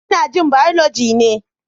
Ina jin Biology ne.